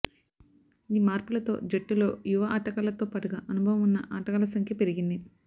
ఈ మార్పులతో జట్టులో యువ ఆటగాళ్లతో పాటుగా అనుభవం ఉన్న ఆటగాళ్ల సంఖ్య పెరిగింది